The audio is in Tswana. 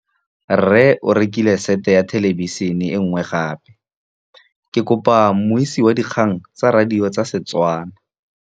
Rre o rekile sete ya thêlêbišênê e nngwe gape. Ke kopane mmuisi w dikgang tsa radio tsa Setswana.